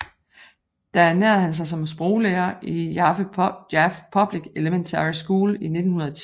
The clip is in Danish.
Der ernærede han sig som sproglærer i Jaffe Public Elementary School til 1910